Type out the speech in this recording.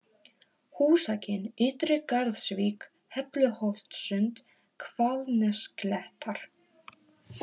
Húsakinn, Ytri-Garðsvík, Helluholtssund, Hvalnesklettar